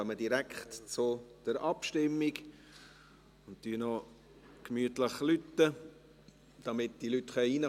Wir kommen direkt zur Abstimmung und läuten noch gemütlich, damit die Leute hineinkommen können.